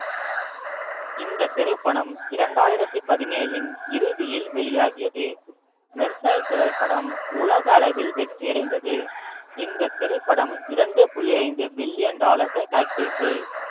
இந்த திரைப்படம் இரண்டாயிரத்தி பதினேழின் இறுதியில் வெளியாகியது மெர்சல் திரைப்படம் உலக அளவில் வெற்றி அடைந்தது இந்த திரைப்படம் இரண்டு புள்ளி ஐந்து பில்லியன் டாலர்ஸை collect செய்தது